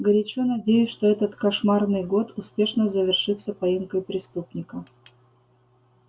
горячо надеюсь что этот кошмарный год успешно завершится поимкой преступника